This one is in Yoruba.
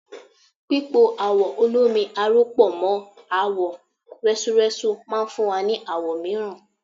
Pípo awọ olómi aró pọ̀ mọ́ àwọ̀ rẹ́súrẹ́sú máa fún wa ní àwọ̀ mìíràn.